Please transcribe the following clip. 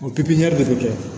O pipiniyɛri de bɛ kɛ